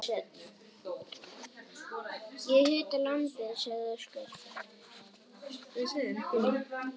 Ég hita lambið, sagði Óskar.